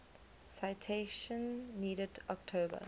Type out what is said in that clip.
citation needed october